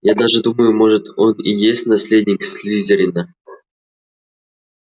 я даже думаю может он и есть наследник слизерина